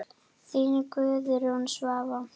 Þín Guðrún Svava.